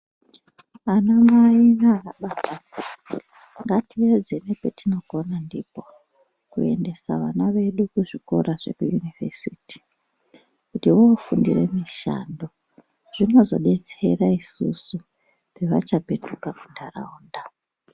Anamai naanababa ngatiedze nepetinogona ndipo kuendesa vana vedu kuzvikora zvekuyunivhesiti kuti voofundire mishando. Zvinozodetsera isusu pevachapetuka munharaunda.